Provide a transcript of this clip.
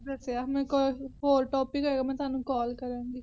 ਦਸਿਆ ਮੇਰੇ ਕੋਲ ਹੋਰ Topic ਹੋਇਆ ਮੈ ਤੁਹਾਨੂੰ ਕੋਲ ਕਰਾਗੀ